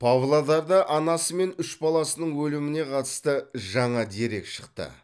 павлодарда анасы мен үш баласының өліміне қатысты жаңа дерек шықты